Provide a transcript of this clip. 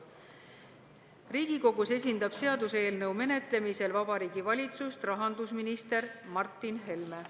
Riigikogus esindab seaduseelnõu menetlemisel Vabariigi Valitsust rahandusminister Martin Helme.